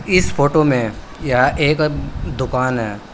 इस फोटो में यह एक दुकान है।